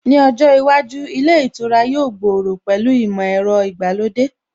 Ní ojó iwájú, ilé ìtura yóò gbòòrò pẹ̀lú ìmọ̀ ẹ̀rọ ìgbàlódé